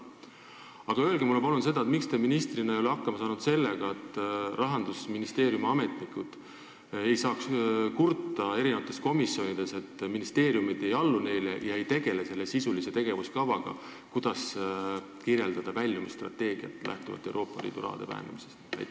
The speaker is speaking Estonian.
Aga öelge mulle palun, miks te ministrina ei ole hakkama saanud sellega, et Rahandusministeeriumi ametnikud ei kurdaks komisjonides, et ministeeriumid ei allu neile ega tegele selle sisulise tegevuskavaga, Euroopa Liidu raha vähenemisest lähtuva väljumisstrateegia kirjeldamisega.